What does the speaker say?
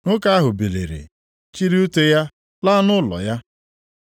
Nwoke ahụ biliri, chịrị ute ya laa nʼụlọ ya.